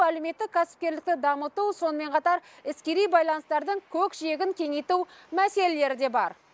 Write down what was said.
әлеуметтік кәсіпкерлікті дамыту сонымен қатар іскери байланыстардың көкжиегін кеңейту мәселелері де бар